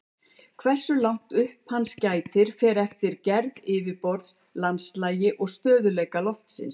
Hversu langt upp hans gætir fer eftir gerð yfirborðs, landslagi og stöðugleika lofsins.